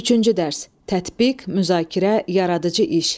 Üçüncü dərs: Tətbiq, müzakirə, yaradıcı iş.